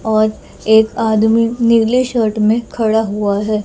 और एक आदमी नीले शर्ट में खड़ा हुआ है।